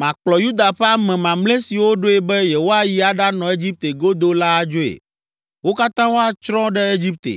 Makplɔ Yuda ƒe ame mamlɛ siwo ɖoe be yewoayi aɖanɔ Egipte godoo la adzoe. Wo katã woatsrɔ̃ ɖe Egipte;